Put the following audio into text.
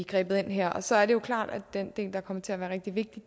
grebet ind her så er det jo klart at den del der kommer til at være rigtig vigtig